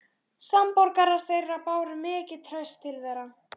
Samborgarar þeirra báru mikið traust til þeirra.